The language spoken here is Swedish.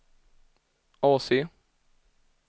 AC